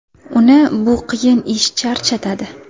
Uni bu qiyin ish charchatadi.